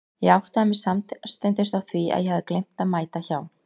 Ég áttaði mig samstundis á því að ég hafði gleymt að mæta hjá